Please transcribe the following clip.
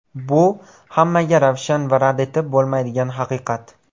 Bu – hammaga ravshan va rad etib bo‘lmaydigan haqiqat.